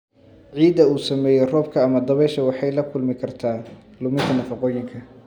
Ciidda uu saameeyay roobka ama dabayshu waxay la kulmi kartaa luminta nafaqooyinka.